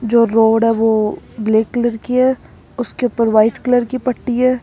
जो रोड है वो ब्लैक कलर की है उसके ऊपर व्हाइट कलर की पट्टी है।